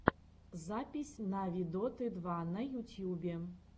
запись нави доты два на ютьюбе